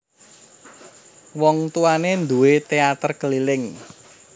Wong tuwané nduwé téater keliling